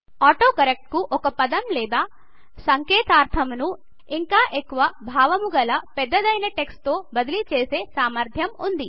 autocorrect కు ఒక పదం లేదా సంకేతాక్షరమును ఇంకా ఎక్కువ భావముగల పెద్దదైన టెక్స్ట్ తో బదిలీ చేసే సామర్థ్యము వుంది